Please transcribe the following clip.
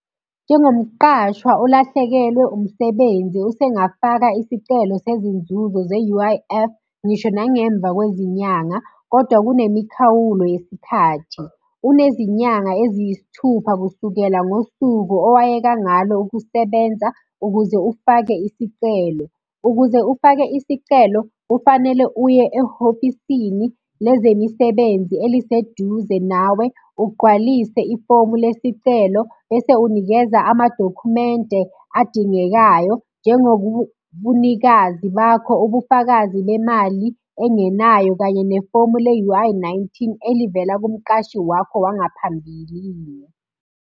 Njengomqashwa olahlekelwe umsebenzi usengafaka isicelo sezinzuzo ze-U_I_F, ngisho nangemva kwezinyanga, kodwa kunemikhawulo yesikhathi. Unezinyanga eziyisithupha kusukela ngosuku owayeka ngalo ukusebenza ukuze ufake isicelo. Ukuze ufake isicelo, kufanele uye ehofisini lezemisebenzi eliseduze nawe, ugqwalise ifomu lesicelo, bese unikeza amadokhumende adingekayo. Njengobunikazi bakho, ubufakazi bemali engenayo, kanye nefomu le-U_I nineteen elivela kumqashi wakho wangaphambilini.